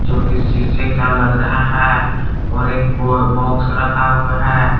जो कि शीशे का लग रहा है और एक बॉक्स रखा हुआ है।